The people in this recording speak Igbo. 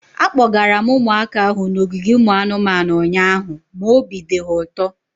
Akpọgara m ụmụaka ahu n'ogige ụmụ anụmanụ ụnyaahụ ma obi dị ha ụtọ